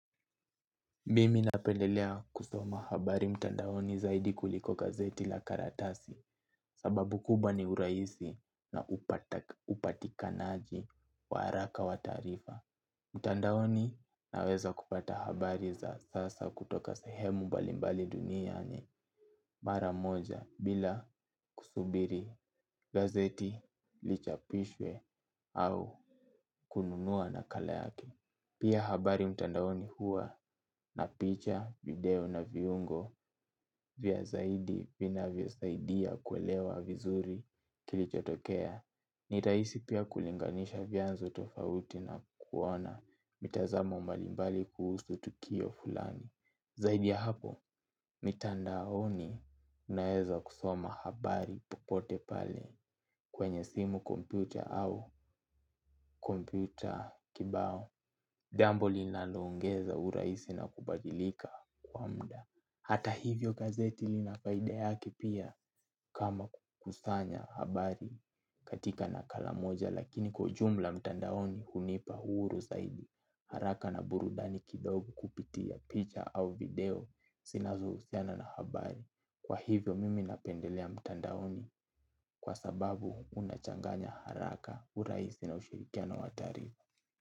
Mimi napendelea kusoma habari mtandaoni zaidi kuliko gazeti la karatasi sababu kubwa ni urahisi na upatikanaji wa haraka wa taarifa. Mtandaoni naweza kupata habari za sasa kutoka sehemu mbalimbali duniani mara moja bila kusubiri gazeti lichapishwe au kununua nakala yake. Pia habari mtandaoni huwa na picha, video na viungo vya zaidi vinavyosaidia kuelewa vizuri kilichotokea. Ni rahisi pia kulinganisha vyanzo tofauti na kuona mitazamo mbalimbali kuhusu tukio fulani. Zaidi ya hapo, mitandaoni unaweza kusoma habari popote pale kwenye simu kompyuta au kompyuta kibao. Jambo linaloongeza urahisi na kubadilika kwa muda. Hata hivyo gazeti linafaida yake pia kama kukusanya habari katika nakala moja lakini kwa ujumla mtandaoni hunipa uhuru zaidi. Haraka na burudani kidogo kupitia picha au video zinazo husiana na habari. Kwa hivyo mimi napendelea mtandaoni kwa sababu unachanganya haraka urahisi na ushirikiano wataarifa.